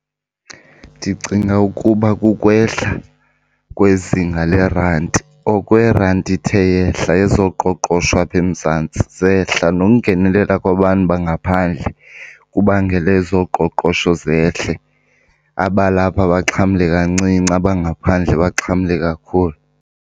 Ndicinga ukuba kukwehla kwezinga lerandi, oko irandi ithe yehla ezoqoqosho apha eMzantsi zehla. Nokungenelela kwabantu bangaphandle kubangele ezoqoqosho zehle, abalapha baxhamle kancinci abangaphandle baxhamle kakhulu.